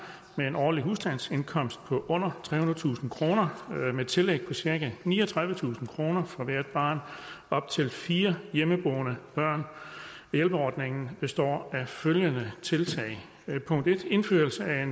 med en årlig husstandsindkomst på under trehundredetusind kroner med tillæg på cirka niogtredivetusind kroner for hvert barn op til fire hjemmeboende børn hjælpeordningen består af følgende tiltag punkt en indførelse af